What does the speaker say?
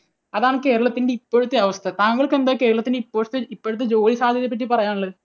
അതാണ് കേരളത്തിന്റെ ഇപ്പോഴത്തെ അവസ്ഥ. താങ്കൾക്ക് എന്താണ് കേരളത്തിൻറെ ഇപ്പോഴത്തെ, ഇപ്പോഴത്തെ ജോലി സാധ്യതയെപ്പറ്റി പറയാനുള്ളത്?